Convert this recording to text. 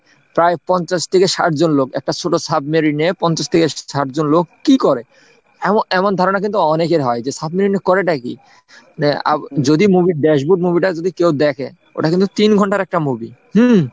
প্রায় পঞ্চাশ থেকে ষাট জন লোক, একটা ছোট সাবমেরিনে পঞ্চাশ থেকে ষাট জন লোক কি করে? এম~এমন ধারণা কিন্তু অনেকের হয় যে সাবমেরিনে করেটা কি? যদি movie ড্যাসবোর্ড movie টা যদি কেউ দেখে ওটা কিন্তু তিন ঘন্টার একটা movie হুম ।